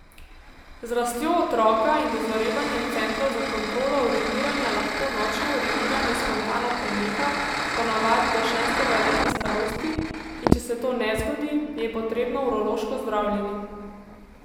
Z rastjo otroka in dozorevanjem centrov za kontrolo uriniranja lahko nočno uriniranje spontano preneha po navadi do šestega leta starosti, in če se to ne zgodi, je potrebno urološko zdravljenje.